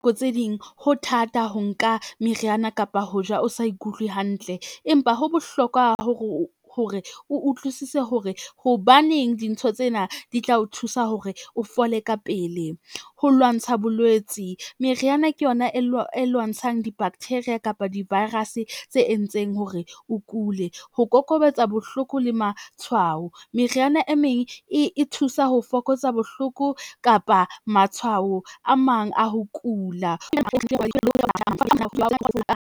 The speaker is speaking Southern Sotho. Nako tse ding, ho thata ho nka meriana kapa ho ja o sa ikutlwe hantle, empa ho bohlokwa hore o utlwisise hore hobaneng dintho tsena di tla o thusa hore o fole ka pele. Ho lwantsha bolwetsi, meriana ke yona e lwantshang di-bacteria kapa di-virus tse entseng hore o kule, ho kokobetsa bohloko le matshwao. Meriana e meng e thusa ho fokotsa bohloko kapa matshwao a mang a ho kula .